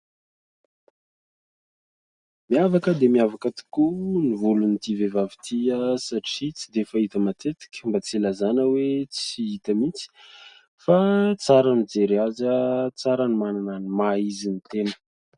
Miavaka dia miavaka tokoa ny volon'ity vehivavy ity satria tsy dia fahita matetika, mba tsy hilazana hoe tsy hita mihitsy. Fa tsara ny mijery azy, tsara ny manana ny maha izy ny tena.